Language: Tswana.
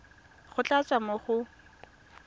go tla tswa mo go